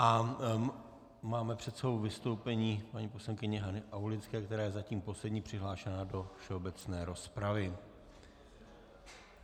A máme před sebou vystoupení paní poslankyně Hany Aulické, která je zatím poslední přihlášená do všeobecné rozpravy.